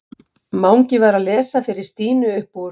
Mangi var að lesa fyrir Stínu upp úr